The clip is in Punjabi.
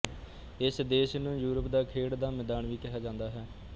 ਇਸ ਦੇਸ਼ ਨੂੰ ਯੂਰਪ ਦਾ ਖੇਡ ਦਾ ਮੈਦਾਨ ਵੀ ਕਿਹਾ ਜਾਂਦਾ ਹੈ